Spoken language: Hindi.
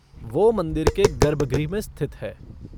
वो मंदिर के गर्भगृह में स्थित है।